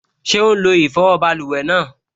Ṣé ó n lo ìfọwọ́ báluwẹ̀ náà?